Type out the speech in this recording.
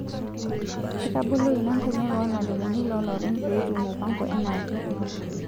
Etabolo ina nkonyek oo lmalimuni loolopeny pee etum mupango enaake